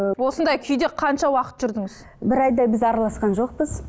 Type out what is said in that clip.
ы осындай күйде қанша уақыт жүрдіңіз бір айдай біз араласқан жоқпыз